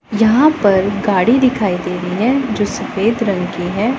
यहां पर गाड़ी दिखाई दे रही है जो सफेद रंग की है।